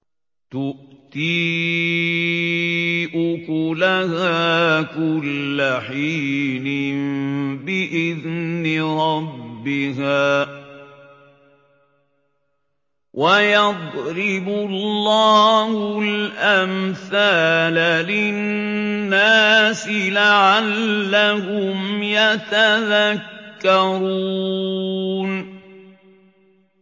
تُؤْتِي أُكُلَهَا كُلَّ حِينٍ بِإِذْنِ رَبِّهَا ۗ وَيَضْرِبُ اللَّهُ الْأَمْثَالَ لِلنَّاسِ لَعَلَّهُمْ يَتَذَكَّرُونَ